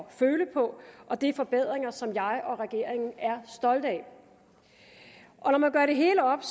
at føle på det er forbedringer som jeg og regeringen er stolte af når man gør det hele op